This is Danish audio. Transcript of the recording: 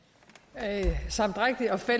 altså